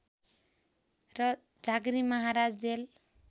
र झाँक्री महाराज जेल